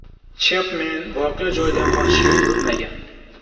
Chepmen voqea joyidan qochishga urinmagan.